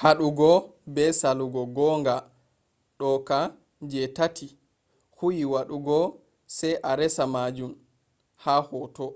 hudugo be salugo gonga doka je tati huyi wadugo sai a resa majun ha hoto.